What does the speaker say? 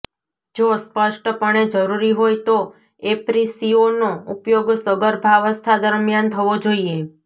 જો સ્પષ્ટપણે જરૂરી હોય તો એપ્રિસિઓનો ઉપયોગ સગર્ભાવસ્થા દરમિયાન થવો જોઈએ